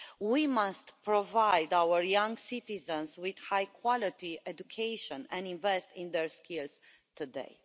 We must provide our young citizens with high quality education and invest in their skills today.